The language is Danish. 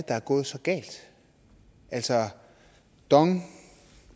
er gået så galt altså dong